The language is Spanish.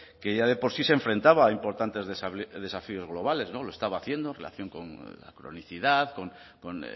que ya de por sí se enfrentaba a importantes desafíos globales lo estaba haciendo en relación con la cronicidad con